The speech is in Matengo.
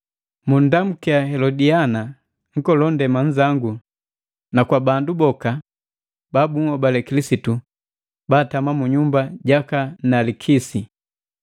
Munndamukia Helodiana, nkolondema nzangu na kwa bandu boka ba bunhobale Kilisitu baatama mu nyumba jaka Nalikisi.